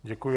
Děkuji.